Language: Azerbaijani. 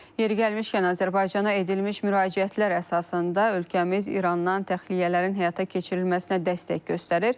Yeri gəlmişkən, Azərbaycana edilmiş müraciətlər əsasında ölkəmiz İrandan təxliyələrin həyata keçirilməsinə dəstək göstərir.